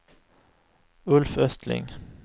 Ulf Östling